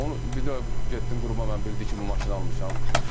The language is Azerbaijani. Onu bir də getdim Qurbana, mən bildi ki, bu maşını almışam.